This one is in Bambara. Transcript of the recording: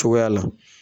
Cogoya la